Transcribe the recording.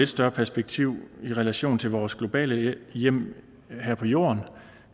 større perspektiv i relation til vores globale hjem her på jorden